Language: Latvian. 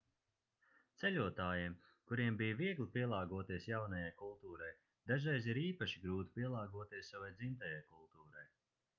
ceļotājiem kuriem bija viegli pielāgoties jaunajai kultūrai dažreiz ir īpaši grūti pielāgoties savai dzimtajai kultūrai